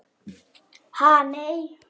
Síðan stökk hann.